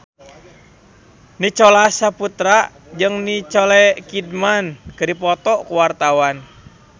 Nicholas Saputra jeung Nicole Kidman keur dipoto ku wartawan